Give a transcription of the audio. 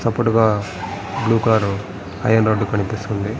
చప్పుడుగా blue car iron rod కనిపిస్తుంది.